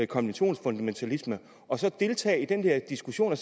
konventionsfundamentalisme og så deltage i den diskussion og